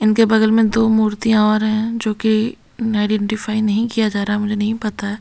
इनके बगल में दो मूर्तियां और है जो कि आइडेंटिफाई नहीं किया जा रहा है मुझे नहीं पता है।